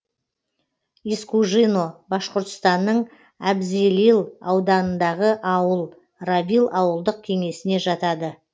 искужино башқұртстанның әбзелил ауданындағы ауыл равил ауылдық кеңесіне жатады